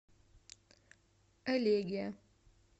элегия